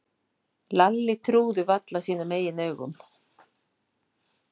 Lalli trúði varla sínum eigin augum.